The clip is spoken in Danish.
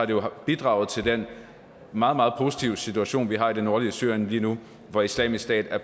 det har bidraget til den meget meget positive situation vi har i det nordlige syrien lige nu hvor islamisk stat er